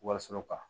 Wariso kan